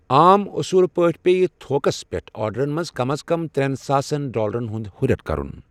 عام اصوٗل پٲٹھۍ پیٚیہِ تھوکَس پٮ۪ٹھ آرڈرن منٛز کم از کم ترٛٮ۪ن ساسن ڈالرن ہُنٛد ہُرٮ۪ر کرُن۔